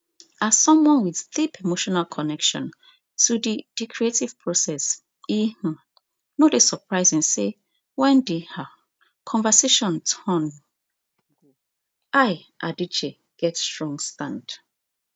as someone with deep emotional connection to di di creative process e um no dey surprising say wen di um conversation turn go ai adichie get strong stand